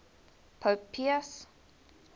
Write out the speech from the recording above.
pope pius